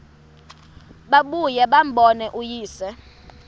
babuye bambone uyise